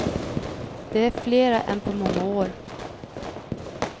Det är flera än på många år.